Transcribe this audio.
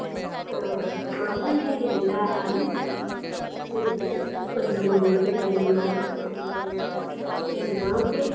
ಆಮೇಲೆ ಎಲ್ಲಾನೂ ಹೋದೀವ್ ರಿ ಒಂದ್ room ನಾಗ್ ಎಲ್ಲಾ ಇದನ್ ಮಾಡ್ಕೊಂಡು ಅಮೇಲ್ ಎಲ್ಲಾ clean ಆಗಿ.